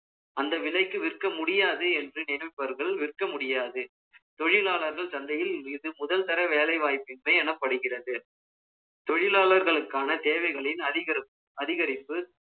அந்த விலைக்கு, விற்க முடியாது என்று, நினைப்பவர்கள், விற்க முடியாது தொழிலாளர்கள் சந்தையில், இது முதல் தர வேலை வாய்ப்பின்மை எனப்படுகிறது. தொழிலாளர்களுக்கான தேவைகளின் அதிகரிப்பு,